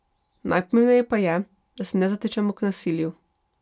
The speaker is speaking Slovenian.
Najpomembneje pa je, da se ne zatečemo k nasilju.